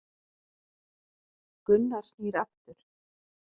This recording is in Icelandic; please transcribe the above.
Gunnar snýr aftur.